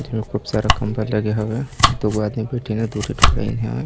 जेमा खूब सारा कम्बल लगे हवय दो आदमी बैठे है दु दी ठो हेवीन हे अ--